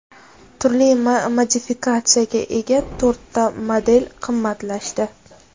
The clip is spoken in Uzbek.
Turli modifikatsiyaga ega to‘rtta model qimmatlashdi.